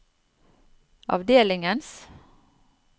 avdelingens